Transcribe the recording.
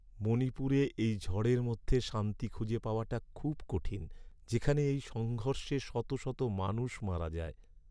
মণিপুরে এই ঝড়ের মধ্যে শান্তি খুঁজে পাওয়াটা খুব কঠিন, যেখানে এই সংঘর্ষে শত শত মানুষ মারা যায়।